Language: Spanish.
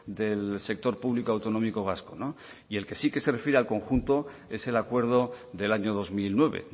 del sector público autonómico vasco y el que sí que se refiere al conjunto es el acuerdo del año dos mil nueve